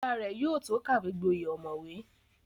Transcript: Bàbá rẹ̀ yóò tó kàwé gboyè ọ̀mọ̀wé